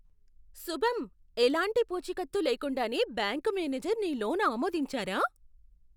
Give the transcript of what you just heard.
శుభం! ఎలాంటి పూచీకత్తు లేకుండానే బ్యాంకు మేనేజర్ నీ లోన్ ఆమోదించారా?